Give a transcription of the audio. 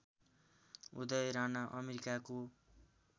उदय राणा अमेरिकाको